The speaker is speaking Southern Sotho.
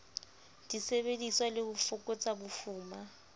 disebediswa le ho fokotsa bofuma